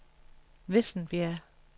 Vissenbjerg